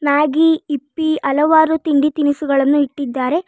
Maggi ಹಿಪ್ಪಿ ಹಲವಾರು ತಿಂಡಿ ತಿನಿಸುಗಳನ್ನು ಇಟ್ಟಿದ್ದಾರೆ.